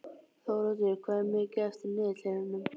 Þóroddur, hvað er mikið eftir af niðurteljaranum?